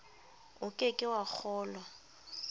o ke ke wa kgolwa